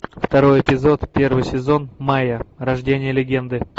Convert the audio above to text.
второй эпизод первый сезон майя рождение легенды